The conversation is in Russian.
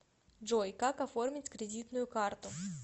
джой как оформить кредитную карту